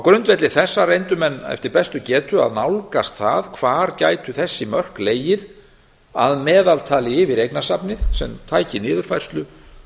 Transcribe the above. grundvelli þessa reyndu menn eftir bestu getu að nálgast það hvar gætu þessi mörk legið að meðaltali yfir eignasafnið sem tæki niðurfærslu